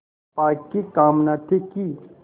चंपा की कामना थी कि